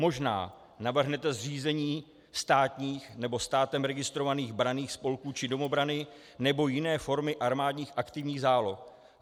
Možná navrhnete zřízení státních nebo státem registrovaných branných spolků či domobrany nebo jiné formy armádních aktivních záloh.